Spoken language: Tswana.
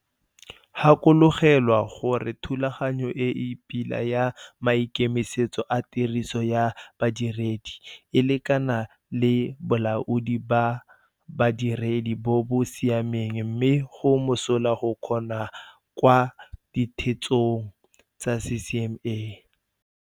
Gakologelwa gore thulaganyo e e pila ya maikemisetso a tiriso ya badiredi e lekana le bolaodi ba badiredi bo bo siameng mme go mosola go kgona kwa ditheetsong tsa CCMA.